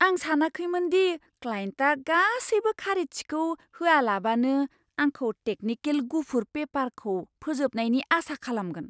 आं सानाखैमोनदि क्लायेन्टआ गासैबो खारिथिखौ होआलाबानो आंखौ टेकनिकेल गुफुर पेपारखौ फोजोबनायनि आसा खालामगोन।